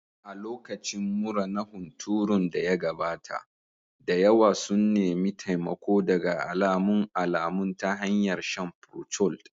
A lokacin mura na hunturun da ya gabata, da yawa sun nemi taimako daga alamun alamun ta hanyar shan procold